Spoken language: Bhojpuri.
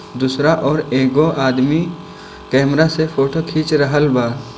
दूसरा और एगो आदमी कैमरा से फोटो खींच रहल बा।